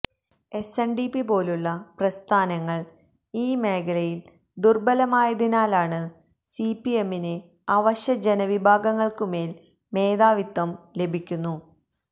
എസ്എന്ഡിപിപോലുളള പ്രസ്ഥാനങ്ങള് ഈ മേഖലയില് ദുര്ബലമായതിനാല് സിപിഎമ്മിന് അവശജനവിഭാഗങ്ങള്ക്കുമേല് മേധാവിത്വം ലഭിക്കുന്നു